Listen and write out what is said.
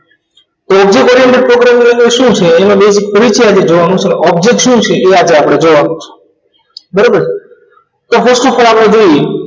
Object program શું છે એની basic રીત એ જોવા મળશે અને object શું છે એ આજે આપણે જોવાનું છે બરાબર suppose કે આપણે બે કે